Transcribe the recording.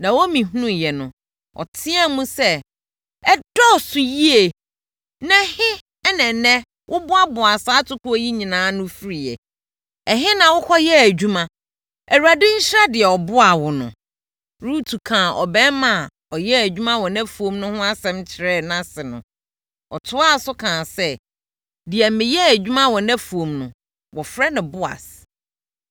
Naomi hunuiɛ no, ɔteaam sɛ, “Ɛdɔɔso yie! Na ɛhe na ɛnnɛ woboaboaa saa atokoɔ yi nyinaa ano firi? Ɛhe na wokɔyɛɛ adwuma? Awurade nhyira deɛ ɔboaa wo no!” Rut kaa ɔbarima a ɔyɛɛ adwuma wɔ nʼafuom no ho asɛm kyerɛɛ nʼase no, ɔtoaa so kaa sɛ, “Deɛ meyɛɛ adwuma wɔ nʼafuom no, wɔfrɛ no Boas.”